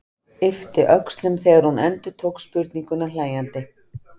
Yppti öxlum þegar hún endurtók spurninguna hlæjandi.